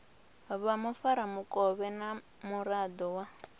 vha mufaramukovhe na muraḓo wa